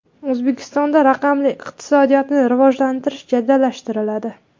O‘zbekistonda raqamli iqtisodiyotni rivojlantirish jadallashtiriladi.